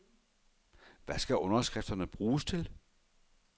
Hvad skal underskrifterne bruges til?